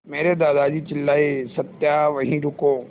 मेरे दादाजी चिल्लाए सत्या वहीं रुको